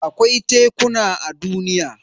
Akwai tekuna a duniya.